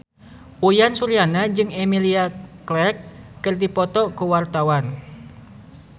Uyan Suryana jeung Emilia Clarke keur dipoto ku wartawan